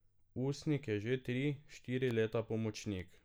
Usnik je že tri, štiri leta pomočnik.